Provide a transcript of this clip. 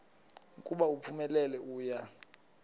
ukuba uphumelele uya